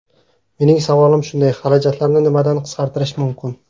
Mening savolim shunday: xarajatlarni nimadan qisqartirish mumkin?